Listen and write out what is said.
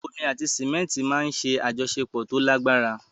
Omi àti símẹ́ńtì máa ń ṣe àjọṣepọ̀ tó lágbára.